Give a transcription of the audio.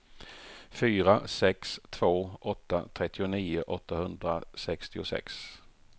fyra sex två åtta trettionio åttahundrasextiosex